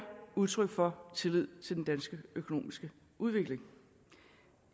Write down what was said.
udtryk for tillid til den danske økonomiske udvikling